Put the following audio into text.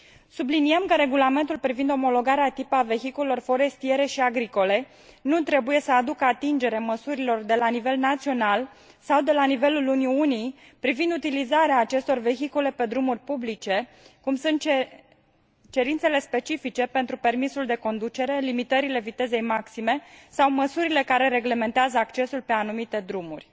Subliniem că Regulamentul privind omologarea de tip a vehiculelor forestiere și agricole nu trebuie să aducă atingere măsurilor de la nivel național sau de la nivelul Uniunii privind utilizarea acestor vehicule pe drumuri publice, cum sunt cerințele specifice pentru permisul de conducere, limitările vitezei maxime sau măsurile care reglementează accesul pe anumite drumuri.